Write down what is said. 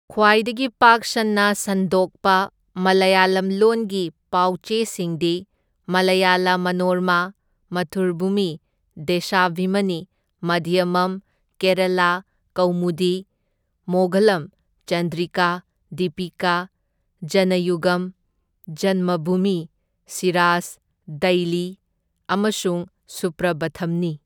ꯈ꯭ꯋꯥꯏꯗꯒꯤ ꯄꯥꯛ ꯁꯟꯅ ꯁꯟꯗꯣꯛꯄ ꯃꯂꯌꯥꯂꯝ ꯂꯣꯟꯒꯤ ꯄꯥꯎ ꯆꯦꯁꯤꯡꯗꯤ ꯃꯂꯌꯥꯂꯥ ꯃꯅꯣꯔꯃꯥ, ꯃꯊ꯭ꯔꯨꯚꯨꯃꯤ, ꯗꯦꯁꯥꯚꯤꯃꯅꯤ, ꯃꯙ꯭ꯌꯃꯝ, ꯀꯦꯔꯥꯂꯥ ꯀꯧꯃꯨꯗꯤ, ꯃꯣꯒꯂꯝ, ꯆꯟꯗ꯭ꯔꯤꯀꯥ, ꯗꯤꯄꯤꯀꯥ, ꯖꯅꯌꯨꯒꯝ, ꯖꯟꯃꯚꯨꯃꯤ, ꯁꯤꯔꯥꯖ ꯗꯩꯂꯤ ꯑꯃꯁꯨꯡ ꯁꯨꯄ꯭ꯔꯚꯥꯊꯝꯅꯤ꯫